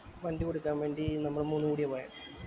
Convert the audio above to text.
വണ്ടി കൊടുക്കാൻ വേണ്ടി നമ്മൾ മൂന്ന് പേരു ആ പോയെ